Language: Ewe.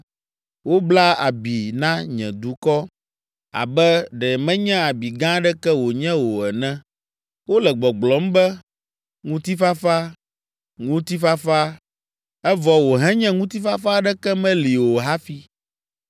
Wobla abi na nye dukɔ abe ɖe menye abi gã aɖeke wònye o ene. Wole gbɔgblɔm be, ‘Ŋutifafa, ŋutifafa’, evɔ wòhenye ŋutifafa aɖeke meli o hafi.